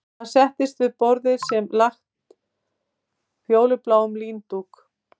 Hann settist við borðið sem var lagt fölbláum líndúk